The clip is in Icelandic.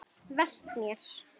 Velt mér.